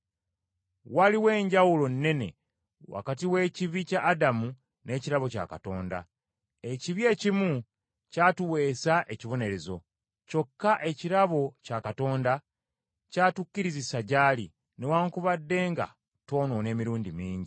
Waliwo enjawulo nnene wakati w’ekibi kya Adamu n’ekirabo kya Katonda. Ekibi ekimu kyatuweesa ekibonerezo. Kyokka ekirabo kya Katonda kyatukkirizisa gy’ali, newaakubadde nga twonoona emirundi mingi.